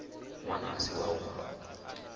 ṅwana a si wau nga